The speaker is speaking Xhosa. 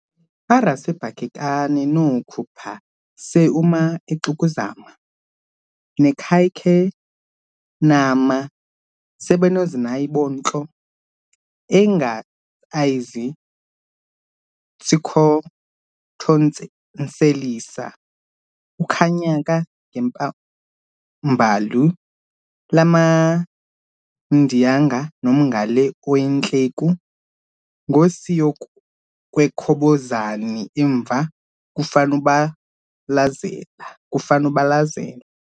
aRaseBhakhekani noOkhupha seUma eXikuzama nekhayekanhama seBenoZinayibontlo engatsayizits'kithonseliza ukhanyaka ngempumbalu lamaMdinyanga nomgale oCiyintleku ngosinyokwekhobozani emva kufanabulazela